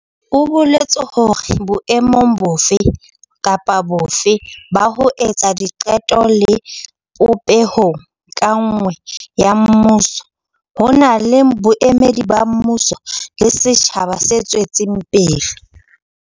O boletse hore boemong bofe kapa bofe ba ho etsa diqeto le popehong ka nngwe ya mmuso, ho na le boemedi ba mmuso le setjhaba se tswetseng pele.